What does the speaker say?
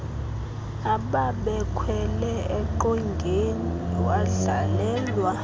ababekhwele eqongeni wadlalelwa